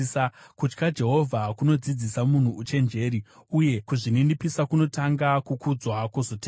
Kutya Jehovha kunodzidzisa munhu uchenjeri, uye kuzvininipisa kunotanga, kukudzwa kwozotevera.